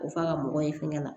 O f'a ka mɔgɔ ye fɛngɛ la